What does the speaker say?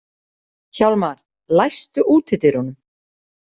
Hjálmar, læstu útidyrunum.